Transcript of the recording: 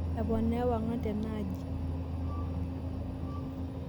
aponaa ewang'an tena aji